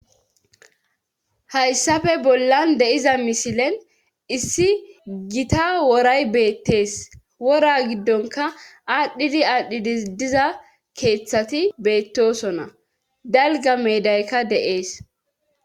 Hayssafe bollan de7iza misilen issi gita woray beettees wora giddonkka aadhidi aadhidi diza keethati beettoosona dalgga meedayka de7ees.